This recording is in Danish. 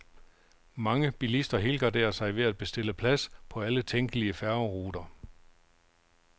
Mange bilister helgarderer sig ved at bestille plads på alle tænkelige færgeruter.